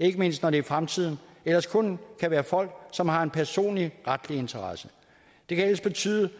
ikke mindst når det i fremtiden ellers kun kan være folk som har en personlig retlig interesse det kan ellers betyde